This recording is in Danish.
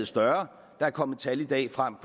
større der er kommet tal i dag frem